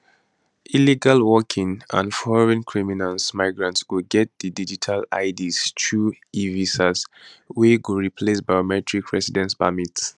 illegal working and foreign criminals migrants go get di digital ids through evisa wey go replace biometric residence permits